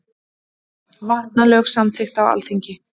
Vatnalög samþykkt á Alþingi.